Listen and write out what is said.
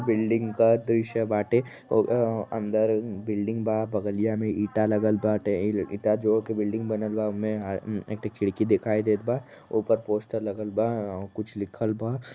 Building का दृश्य बाटे अ अ अंदर बिल्डिंग बा बगलिया में ईटा लगल बाटे ईटा जोड़ के बिल्डिंग बनलबा ओमे अ ऐ एकठ खिड़की दिखाई देत बा ओपर पोस्टर लागल बा म मम कुछ लिखल बा।